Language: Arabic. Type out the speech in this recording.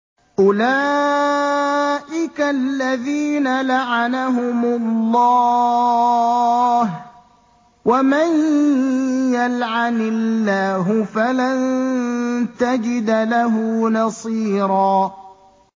أُولَٰئِكَ الَّذِينَ لَعَنَهُمُ اللَّهُ ۖ وَمَن يَلْعَنِ اللَّهُ فَلَن تَجِدَ لَهُ نَصِيرًا